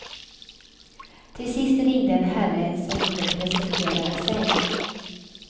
Till sist ringde en herre som inte presenterade sig.